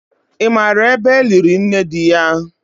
Ị maara ebe eliri nne di ya?